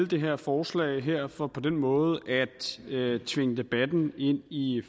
det her forslag for på den måde at tvinge debatten ind i